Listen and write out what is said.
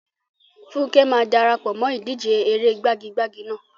Funke máa dara pọ̀ mọ́ ìdíje eré gbagi-gbagi náà.